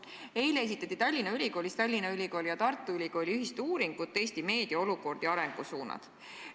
Eile esitleti Tallinna Ülikoolis Tallinna Ülikooli ja Tartu Ülikooli ühist meediapoliitika olukorra ja arengusuundade uuringut.